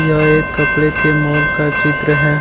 यह एक कपड़े के मॉल का चित्र है।